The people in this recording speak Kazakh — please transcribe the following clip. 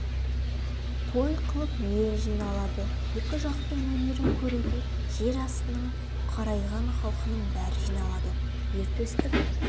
той қылып ел жиналады екі жақтың өнерін көруге жер астының қарайған халқының бәрі жиналады ер төстік